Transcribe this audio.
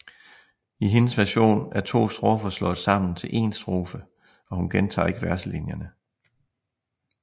I hendes version er to strofer slået sammen til en strofe og hun gentager ikke verselinjerne